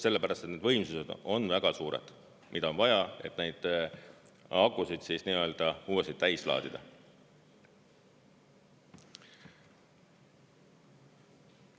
Sellepärast, et need võimsused on väga suured, mida on vaja, et neid akusid uuesti täis laadida.